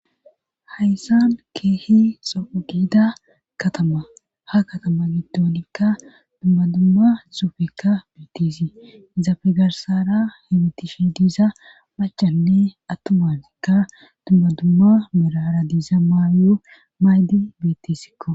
Hayssan keehi xougida katama ha katama giddoonikka dummadumma suufekka beettisi izaafegarsara hemitishi diiza macanne attumafekka dummadumma mirara diiza maawiyo maydi bettisikko.